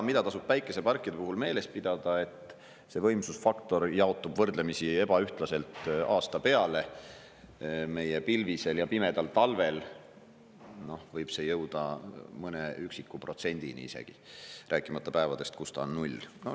Mida tasub päikeseparkide puhul meeles pidada, et see võimsusfaktor jaotub võrdlemisi ebaühtlaselt aasta peale: meie pilvisel ja pimedal talvel võib see jõuda mõne üksiku protsendini isegi, rääkimata päevadest, kus ta on null.